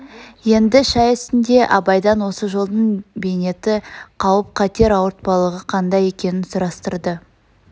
енді шай үстінде абайдан осы жолдың бейнеті қауп-қатер ауыртпалығы қандай екенін сұрастырды